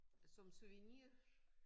Som souvenir?